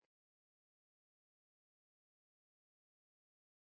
Félagið gerði leigusamning við hitaveituna með kauprétti ef vel gengi.